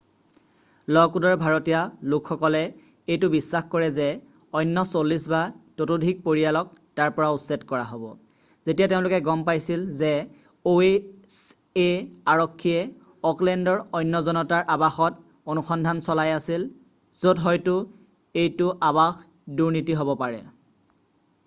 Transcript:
লকউডৰ ভাৰাতিয়া লোকসকলে এইটো বিশ্বাস কৰে যে অন্য 40 বা তাতোধিক পৰিয়ালক তাৰ পৰা উচ্ছেদ কৰা হ'ব যেতিয়া তেওঁলোকে গম পাইছিল যে oha আৰক্ষীয়ে অকলেণ্ডৰ অন্য জনতাৰ আবাসত অনুসন্ধান চলাই আছিল য'ত হয়তো এইটো আবাস দুৰ্নীতি হব পাৰে